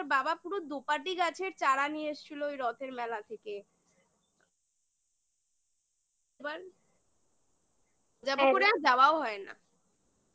পুরো দোপাটি গাছের চারা নিয়ে এসছিল ওই রথের মেলা থেকে হ্যাঁ এবার যাব করে আর যাওয়াও হয় না